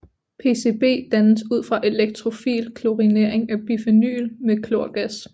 PCB dannes ud fra elektrofil klorinering af bifenyl med klorgas